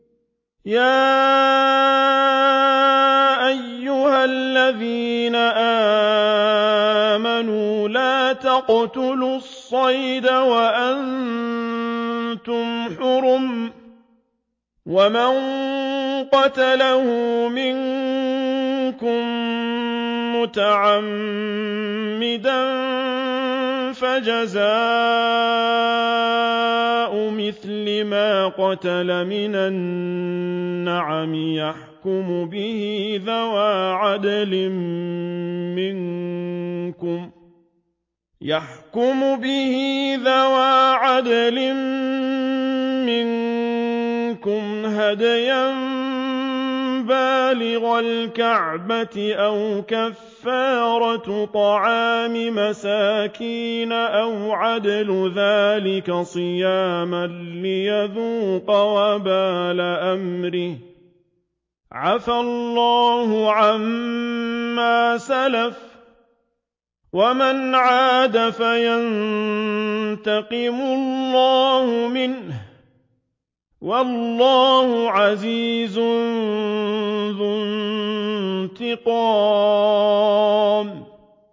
يَا أَيُّهَا الَّذِينَ آمَنُوا لَا تَقْتُلُوا الصَّيْدَ وَأَنتُمْ حُرُمٌ ۚ وَمَن قَتَلَهُ مِنكُم مُّتَعَمِّدًا فَجَزَاءٌ مِّثْلُ مَا قَتَلَ مِنَ النَّعَمِ يَحْكُمُ بِهِ ذَوَا عَدْلٍ مِّنكُمْ هَدْيًا بَالِغَ الْكَعْبَةِ أَوْ كَفَّارَةٌ طَعَامُ مَسَاكِينَ أَوْ عَدْلُ ذَٰلِكَ صِيَامًا لِّيَذُوقَ وَبَالَ أَمْرِهِ ۗ عَفَا اللَّهُ عَمَّا سَلَفَ ۚ وَمَنْ عَادَ فَيَنتَقِمُ اللَّهُ مِنْهُ ۗ وَاللَّهُ عَزِيزٌ ذُو انتِقَامٍ